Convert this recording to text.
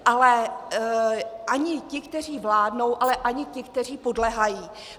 Ale ani ti, kteří vládnou, ale ani ti, kteří podléhají.